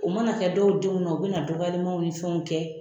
O ma na kɛ dɔw denw na ,u be na dɔgɔyalimaw ni fɛnw kɛ